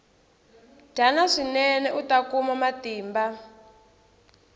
dyana swinene uta kuma matimba